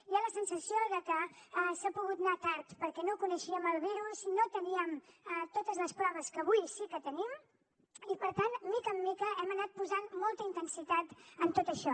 hi ha la sensació de que això ha pogut anar tard perquè no coneixíem el virus no teníem totes les proves que avui sí que tenim i per tant de mica en mica hem anat posant molta intensitat en tot això